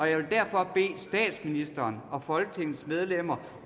jeg vil derfor bede statsministeren og folketingets medlemmer